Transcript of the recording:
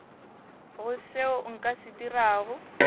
go seo nka se dirago